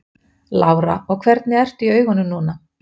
Lára: Og hvernig ertu í augunum núna?